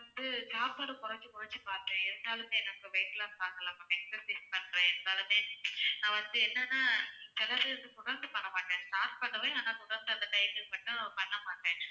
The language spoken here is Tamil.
வந்து சாப்பாடு குறைச்சி குறைச்சி பார்த்தேன் இருந்தாலுமே weight loss ஆகல ma'am exercise பண்றேன் இருந்தாலுமே நான் வந்து என்னனா சில time தொடர்ந்து பண்ண மாட்டேன் start பண்ணுவேன் ஆனா தொடர்ந்து அந்த time க்கு பண்ண மாட்டேன்